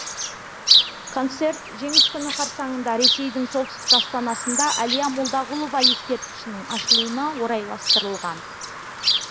концерт жеңіс күні қарсаңында ресейдің солтүстік астанасында әлия молдағұлова ескерткішінің ашылуына орайластырылған